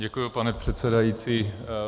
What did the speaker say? Děkuji, pane předsedající.